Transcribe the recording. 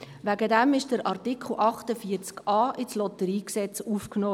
Deshalb wurde der Artikel 48a in das LotG aufgenommen.